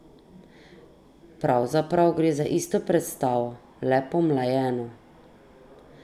Pravzaprav gre za isto predstavo, le pomlajeno.